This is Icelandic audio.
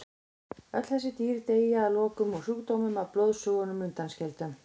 Öll þessi dýr deyja að lokum úr sjúkdómnum að blóðsugunum undanskildum.